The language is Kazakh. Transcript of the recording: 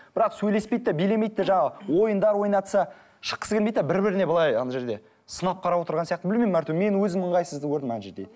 бірақ сөйлеспейді де билемейді де жаңағы ойындар ойнатса шыққысы келмейді де бір біріне былай ана жерде сынап қарап отырған сияқты білмеймін мен өзім ыңғайсызды көрдім ана жерде